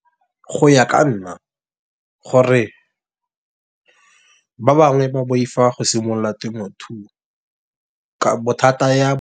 Go ya ka nna gore ba bangwe ba boifa go simolola temothuo ka bothata ya.